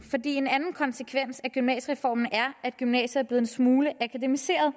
en anden konsekvens af gymnasiereformen er at gymnasiet er blevet en smule akademiseret